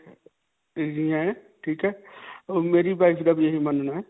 ਠੀਕ ਹੈ. ਮੇਰੀ wife ਦਾ ਵੀ ਇਹੀ ਮਨ੍ਨਾ ਹੈ.